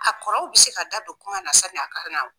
A kɔrɔw be se ka da don kuma na sani a ka na o